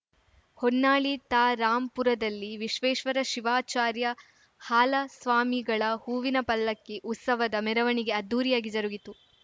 ಹೊನ್ನಾಳಿ ತಾ ರಾಂಪುರದಲ್ಲಿ ವಿಶ್ವೇಶ್ವರ ಶಿವಾಚಾರ್ಯ ಹಾಲಸ್ವಾಮಿಗಳ ಹೂವಿನ ಪಲ್ಲಕ್ಕಿ ಉತ್ಸವದ ಮೆರವಣಿಗೆ ಅದ್ಧೂರಿಯಾಗಿ ಜರುಗಿತು